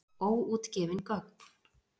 Óútgefin gögn.